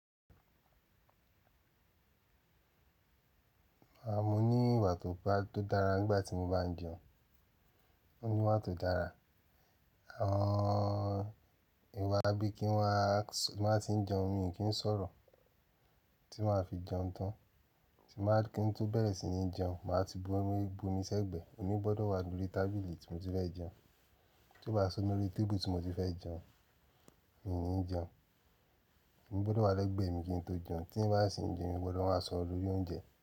Áa mo ní ìwà tó dára nígbà tí mo bá ń jẹun. Òní wá tó dára. Àwọn ìwà bíi kí wọ́n má tíì jẹun mi kí n sọ̀rọ̀, tí máa fi jẹun tán, tí máa kí n tó bẹ̀rẹ̀ sí ní jẹun, màá ti bu omi sẹ́gbẹ̀ẹ́. Omi gbọdọ̀ wá lórí tábìlì tí mo ti fẹ́ jẹun. Tí ó bá si omi lórí tébùl tí mo ti fẹ́ jẹun, mi ò ní jẹun. Omi gbọdọ̀ wá lẹ́gbẹ̀ẹ́ mi kí n tó jẹun. Tí n bá sì ń jẹun, èmi gbọdọ̀ máa sọ̀rọ̀ lórí oúnjẹ.